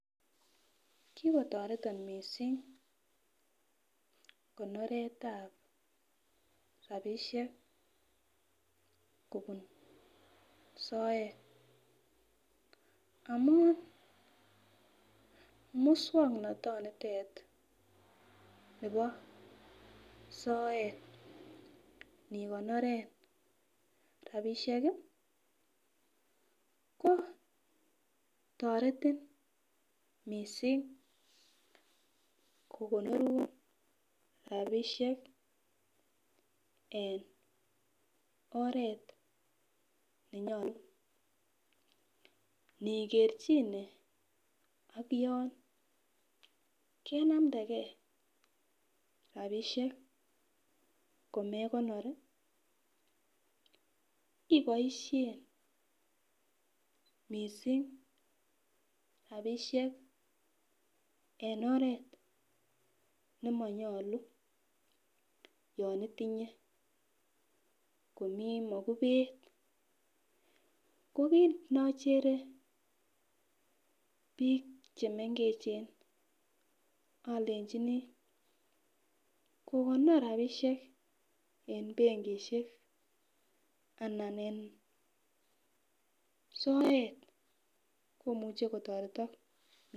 Kikotoreton mising konoretab rabisiek kobun soet amun muswoknotonitet nebo soet nikonoren rabisiek iih ko teretin mising, kokonorun rabisiek eng oret nenyolu nikerjine AK yon kenamdegen rabisiek komekonor iih iboisien mising rabisiek eng oret nemonyolu yon itinye komi mokubet ko kit ne ochere bik che mengechen olenjini kokonor rabisiek eng benkisiek anan eng soet kimuche kotoretok.